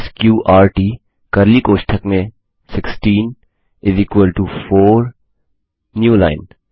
स्कॉर्ट curly कोष्ठक में 16 4 new line